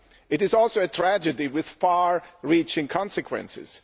It is also a tragedy with far reaching consequences.